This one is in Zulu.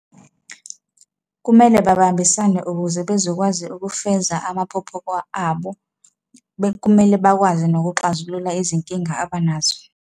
Kumele babambisane ukuze bezokwazi ukufeza amaphupho abo, kumele bakwazi nokuxazulula izinkinga abanazo.